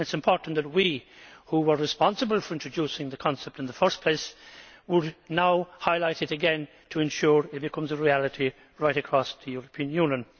It is important that we, who were responsible for introducing the concept in the first place, should now highlight it again to ensure it becomes a reality right across the European Union.